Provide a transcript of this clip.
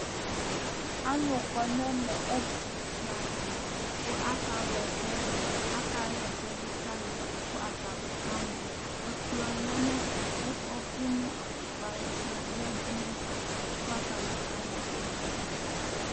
Alu kɔ ŋu ɛmɛ, ɛtʋfʋe aluɛɖìŋí kʋ aka wla ɛsɛɖu Aka hɛsɛ ɖu kʋ alu kʋ akamɔ Ɛkplɔ lɛ nʋ ɛfɛ kʋ ɔfi nʋ atʋpa yaɖu ŋu ɛfɛ kʋ atani kaɣɛsɛ kamɔ